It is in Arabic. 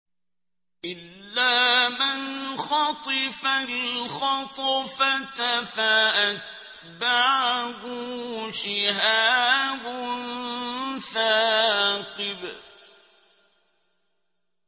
إِلَّا مَنْ خَطِفَ الْخَطْفَةَ فَأَتْبَعَهُ شِهَابٌ ثَاقِبٌ